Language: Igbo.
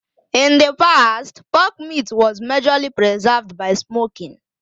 In the past, pork meat was majorly preserved by smoking